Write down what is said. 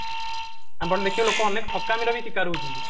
ଆପଣ ଦେଖିବେ ଲୋକ ଅନେକ ଠକାମିର ବି ଶିକାର ହଉଛନ୍ତି